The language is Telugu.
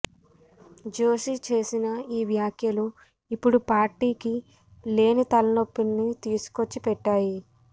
జోషి చేసిన ఈ వ్యాఖ్యలు ఇప్పుడు పార్టీకి లేని తలనొప్పిని తీసుకొచ్చి పెట్టాయి